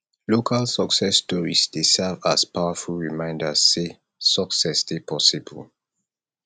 local success stories dey serve as powerful reminders say success dey possible